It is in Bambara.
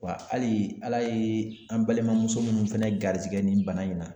Wa ali ala ye an balimamuso munnu fɛnɛ garizigɛ nin bana in na